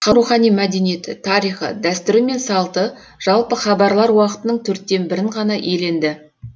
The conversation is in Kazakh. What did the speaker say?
халықтың рухани мәдениеті тарихы дәстүрі мен салты жалпы хабарлар уақытының төрттен бірін ғана иеленді